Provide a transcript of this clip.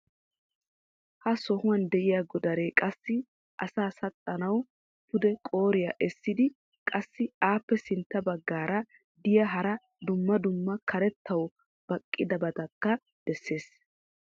ha sohuwan diya Godaree qassi asaa saxxanawu pude qooriya essidi qassi appe sintta bagaara diya hara dumma dumma karettaawu baqqidabatakka besees.